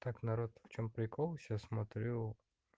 так народ в чём прикол сейчас смотрю